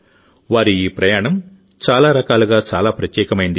వారి ఈ ప్రయాణం చాలా రకాలుగా చాలా ప్రత్యేకమైంది